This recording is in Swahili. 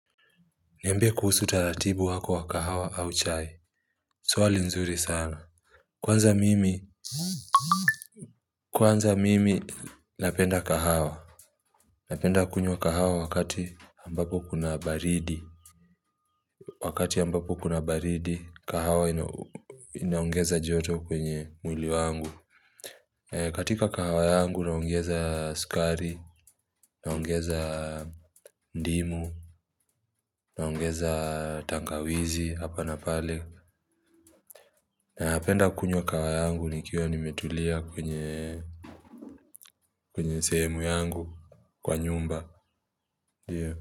Niambe kuhusu utaratibu wako wa kahawa au chai. Swali nzuri sana. Kwanza mimi. Kwanza mimi napenda kahawa. Napenda kunywa kahawa wakati ambapo kuna baridi. Wakati ambapo kuna baridi, kahawa inaongeza joto kwenye mwili wangu. Katika kahawa yangu naongeza sukari, naongeza ndimu, naongeza tangawizi hapa na pale. Na napenda kunywa kahawa yangu nikiwa nimetulia kwenye sehemu yangu kwa nyumba.